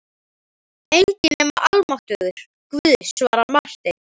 Enginn nema almáttugur Guð, svaraði Marteinn.